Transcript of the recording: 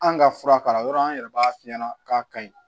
An ka fura k'a la yɔrɔ an yɛrɛ b'a f'i ɲɛna k'a ka ɲi